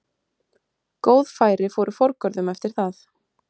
Góð færi fóru forgörðum eftir það.